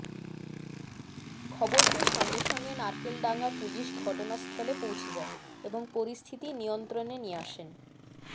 খবর পেয়ে সঙ্গে সঙ্গে নারকেলডাঙ্গার পুলিশ ঘটনাস্থলে পৌঁছে যায় এবং পরিস্থিতি নিয়ন্ত্রণে নিয়ে আসেন